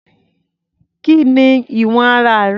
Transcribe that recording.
Kí ni ìwọ̀n ara rẹ̀?